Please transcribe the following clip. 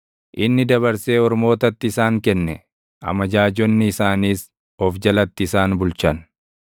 Inni dabarsee ormootatti isaan kenne; amajaajonni isaaniis of jalatti isaan bulchan.